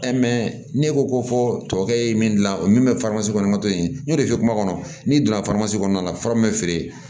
ne ko ko fɔ e ye min dilan min ye kɔnɔ ka to yen n y'o de fɔ kuma kɔnɔ n'i donna kɔnɔna la feere